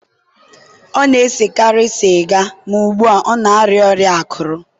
ọ na-esekarị sịga ma ugbu a, ọ na-arịa ọrịa akụrụ.